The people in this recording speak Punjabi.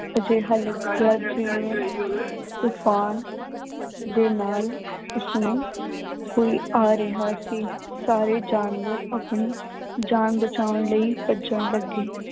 ਅਜਿਹਾ ਤੂਫ਼ਾਨ ਦੇ ਨਾਲ ਉਸਨੂੰ ਕੋਈ ਆ ਰਿਹਾ ਸੀ, ਸਾਰੇ ਜਾਨਵਰ ਆਪਣੀ ਜਾਨ ਬਚਾਉਣ ਲਈ ਭੱਜਣ ਲੱਗੇ।